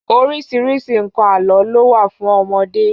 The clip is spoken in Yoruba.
Orísìírísìí nǹkan àlò ló wà fún ọmọdé